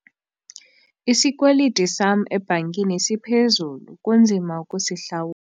Isikweliti sam ebhankini siphezulu kunzima ukusihlawula.